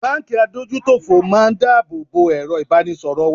Báńkì adójútòfò máa ń dá àbọ̀ bo èrọ ìbánisọ̀rọ̀ wa.